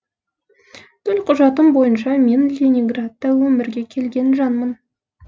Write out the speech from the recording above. төлқұжатым бойынша мен ленинградта өмірге келген жанмын